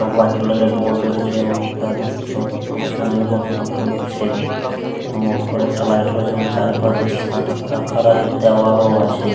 একটা white colour এর board রয়েছে এবং তারদিকে সব বিষয়ের পড়াশুনা করছে এবং ওপরে একটা লাইট রয়েছে এবং চারিপাশে সাদা কালার এর দেওয়াল ও আছে।